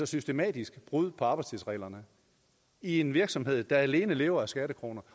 systematiske brud på arbejdstidsreglerne i en virksomhed der alene lever af skattekroner